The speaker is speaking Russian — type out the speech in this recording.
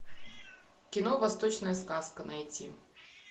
кино восточная сказка найти